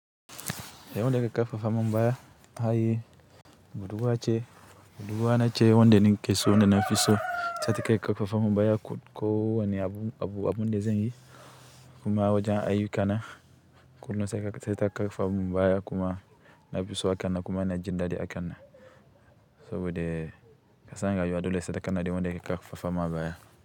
Eh wanda ƙar fafa min baya a yi, budurwa wa ce, budurwa na ce wanda ni kiso wanda na fi so. Saika keke fafa mabaya ko wani abu, abu, abu na zanyi kuma wajen ayyu kana kullum sai ka sata keke fafa min baya kuma na fi so akana kuma na jin daɗi akana. Saboda ka san rayuwa dole sai ka kana yi wanda keke fafa mabaya.